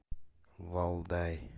валдай